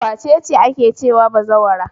Wace ce ake cewa bazawara?